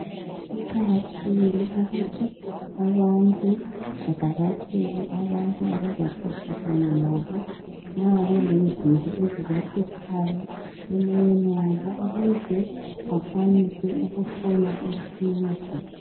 kuqakathekile ukuthi abantu bavakatshele abantu abaza xoxisana labo nxa belezinto ezibahluphayo emoyeni yabo ukuza bakwanise ukuthola usizo